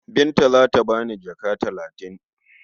Binta za ta ba ni jaka talatin.